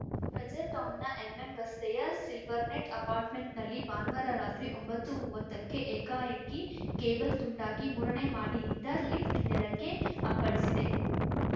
Frazer ಟೌನ್‌ನ MM ರಸ್ತೆಯ Silvernet ಅಪಾರ್ಟ್‌ಮೆಂಟ್‌ನಲ್ಲಿ ಭಾನುವಾರ ರಾತ್ರಿ ಒಂಬತ್ತುಮುವತ್ತಕ್ಕೆ ಏಕಾಏಕಿ ಕೇಬಲ್‌ ತುಂಡಾಗಿ ಮೂರನೇ ಮಹಡಿಯಿಂದ ಲಿಫ್ಟ್‌ ನೆಲಕ್ಕೆ ಅಪ್ಪಳಿಸಿದೆ